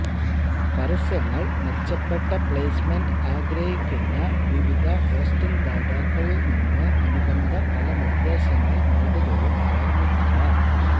പരസ്യങ്ങൾ മെച്ചപ്പെട്ട പ്ലേസ്മെന്റ് ആഗ്രഹിക്കുന്ന വിവിധ ഹോസ്റ്റിംഗ് ദാതാക്കൾ നിന്ന് അനുബന്ധ പല നിർദ്ദേശങ്ങൾ നേടുകയും ഓർമ്മിക്കുക